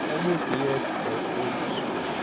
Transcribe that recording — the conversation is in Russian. кому ты яйца-то открутишь